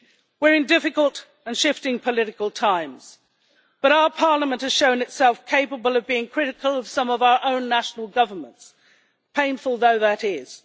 We are in difficult and shifting political times, but our Parliament has shown itself capable of being critical of some of our own national governments, painful though that is.